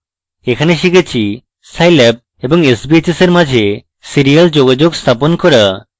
এখানে শিখেছি scilab এবং sbhs in মাঝে serial যোগাযোগ স্থাপন করা